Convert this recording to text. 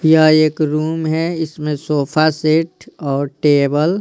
यह एक रूम है इसमें सोफा सेट और टेबल--